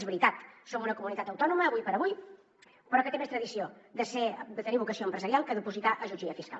és veritat som una comunitat autònoma avui per avui però que té més tradició de tenir vocació empresarial que d’opositar a jutge i a fiscal